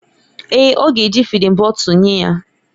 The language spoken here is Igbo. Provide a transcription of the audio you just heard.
Èè, ọ ga-eji fịdin bọtul nye ya.